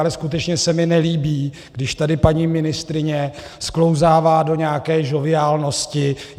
Ale skutečně se mi nelíbí, když tady paní ministryně sklouzává do nějaké žoviálnosti.